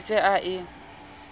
be a se a e